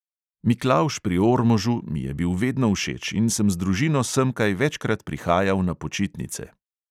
Miklavž pri ormožu mi je bil vedno všeč in sem z družino semkaj večkrat prihajal na počitnice.